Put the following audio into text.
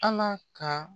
Ala ka